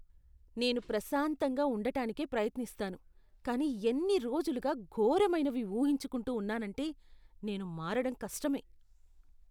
నేను ప్రశాంతంగా ఉండటానికే ప్రయత్నిస్తాను, కానీ ఎన్ని రోజులుగా ఘోరమైనవి ఊహించుకుంటూ ఉన్నానంటే నేను మారడం కష్టమే.